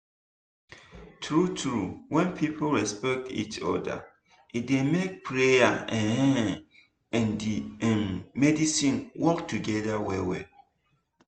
true true when people respect each other e dey make prayer um and um medicine work together well well